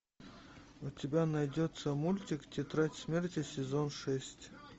у тебя найдется мультик тетрадь смерти сезон шесть